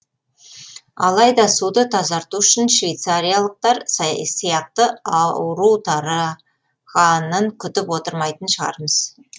алайда суды тазарту үшін швецариялықтар сияқты ауру тара ғанын күтіп отырмайтын шығармыз